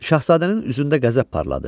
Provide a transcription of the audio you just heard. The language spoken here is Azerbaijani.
Şahzadənin üzündə qəzəb parladı.